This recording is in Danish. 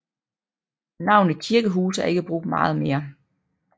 Navnet Kirkehuse er ikke brugt meget mere